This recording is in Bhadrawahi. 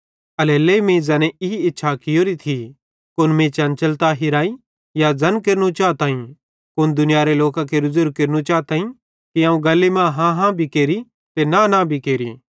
एल्हेरेलेइ मीं ज़ैने ई इच्छा कियोरी थी कुन मीं चंचलता हिराई या ज़ैन केरनू चाताईं कुन दुनियारे लोकां केरे ज़ेरू केरनू चाताईं कि अवं गल्ली मां हाँ हाँ भी केरि नईं नईं भी केरि